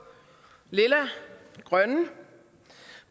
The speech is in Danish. grønne